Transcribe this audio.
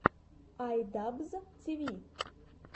ай дабз ти ви